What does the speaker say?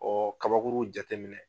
kabakuru jate minɛ